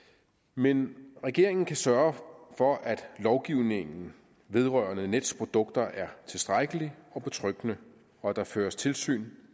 men regeringen kan sørge for at lovgivningen vedrørende nets produkter er tilstrækkelig og betryggende og at der føres tilsyn